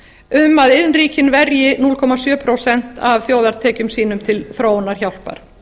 um að iðnríkin verji núll komma sjö prósent af þjóðartekjum sínum til þróunarhjálpar